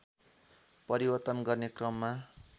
परिवर्तन गर्ने क्रममा